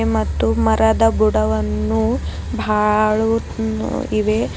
ಮತ್ತು ಮರದ ಬುಡವನ್ನು ಬಾಳು ಇವೆ.